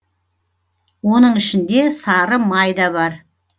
оның ішінде сары май да бар